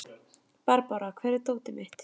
Barbára, hvar er dótið mitt?